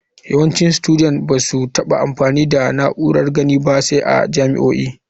Yawancin studet ba su taɓa yin amfani da na'urar gani ba sai a jami'o'i.